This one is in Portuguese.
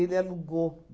E ele alugou.